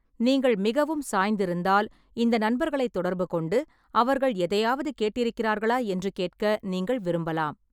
நீங்கள் மிகவும் சாய்ந்திருந்தால், இந்த நண்பர்களைத் தொடர்புகொண்டு அவர்கள் எதையாவது கேட்டிருக்கிறார்களா என்று கேட்க நீங்கள் விரும்பலாம்.